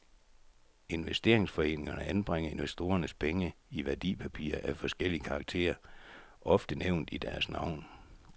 Investeringsforeningerne anbringer investorernes penge i værdipapirer af forskellig karakter, ofte nævnt i deres navn.